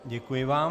Děkuji vám.